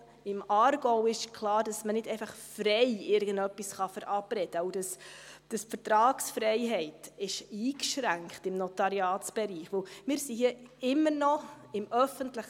Auch im Aargau ist klar, dass man nicht einfach frei irgendwas verabreden kann und dass die Vertragsfreiheit im Notariatsbereich eingeschränkt ist.